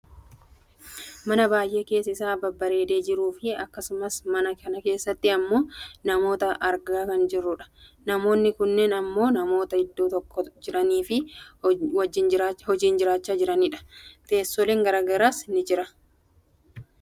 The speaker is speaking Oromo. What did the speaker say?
Mana baayyee keessi isaa babbareedee jiruu fi akkasumas mana kana keesaatti ammoo namoota argaa kan jirru dha. Namoonni kunneen ammoo namoota iddoo tokko jiraniifi hojii hojjachaa jiranidha. Teessooleen gara garaas ni jiru.